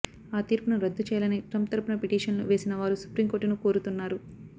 ఆ తీర్పును రద్దు చేయాలని ట్రంప్ తరపున పిటిషన్లు వేసిన వారు సుప్రీంకోర్టును కోరుతున్నారు